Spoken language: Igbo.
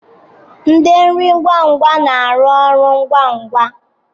Ndi nri ngwa ngwa na aru ọrụ ngwa ngwa